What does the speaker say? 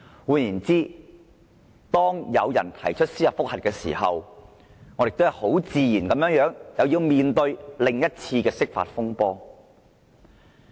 換言之，當有人對該條例提出司法覆核時，我們很自然要面對另一次的釋法風波。